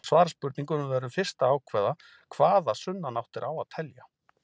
Til að svara spurningunni verðum við fyrst að ákveða hvaða sunnanáttir á að telja.